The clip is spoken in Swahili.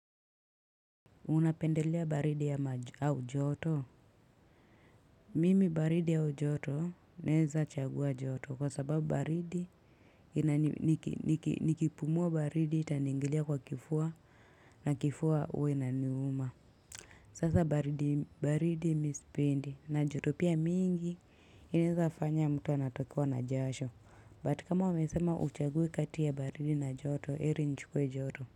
Unapendelea baridi ama au joto mimi baridi au joto naweza chagua joto kwa sababu baridi nikipumua baridi itaniingilia kwa kifua na kifua huwa inaniuma Sasa baridi baridi mi sipendi na joto pia mingi inaweza fanya mtu anatokwa na jasho but kama umesema uchaguwe kati ya baridi na joto heri nichukue joto.